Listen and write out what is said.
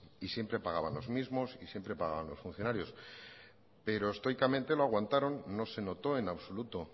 y siempre pagaban los mismos y siempre pagaban los funcionarios pero estoicamente lo aguantaron no se notó en absoluto